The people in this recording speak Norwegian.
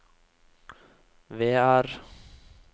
Vear